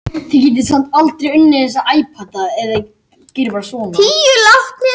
Aðeins körfu bara sitt lítið af hverju